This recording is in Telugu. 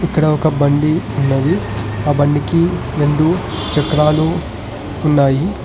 ఇక్కడ ఒక బండి ఉన్నది ఆ బండి కి రెండు చక్రాలు ఉన్నాయి.